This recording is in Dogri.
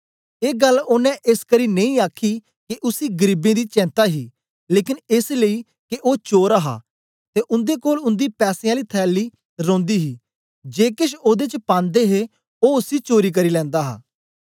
ऐ गल्ल ओनें एसकरी नेई आखी के उसी गरीबें दी चेंता ही लेकन एस लेई के ओ चोर हा ते ओदे कोल उन्दी पैसें आली थैली रौंदी ही जे केछ ओदे च पांदे हे ओ उसी चोरी करी लैंदा हा